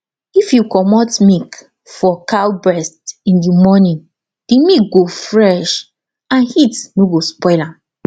if you commot milk for cow breast in the morning the milk go fresh and heat no go spoil am